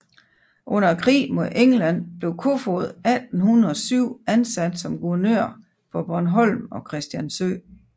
Under krigen med England blev Koefoed 1807 ansat som guvernør på Bornholm og Christiansø